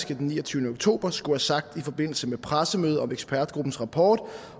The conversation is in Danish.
den niogtyvende oktober skulle have sagt i forbindelse med pressemødet om ekspertgruppens rapport